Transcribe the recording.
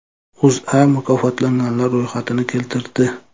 O‘zA mukofotlanganlar ro‘yxatini keltirdi .